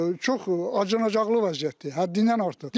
Çox acınacaqlı vəziyyətdir, həddindən artıq.